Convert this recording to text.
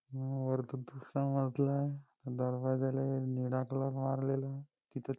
वरतून दुसरा मजला आहे दरवाज़ाले एक निळा कलर मारलेला आहे तिथं--